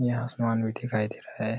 यहाँ आसमान भी दिखाई दे रहा है।